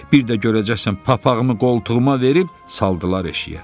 Bir də görəcəksən papaqımı qoltuğuma verib saldılar eşiyə.